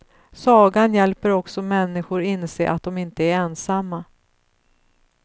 Sagan hjälper också människor inse att de inte är ensamma.